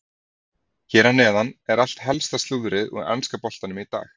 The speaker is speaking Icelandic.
Hér að neðan er allt helsta slúðrið úr enska boltanum í dag.